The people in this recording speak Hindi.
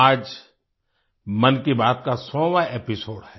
आज मन की बात का सौवां एपिसोड है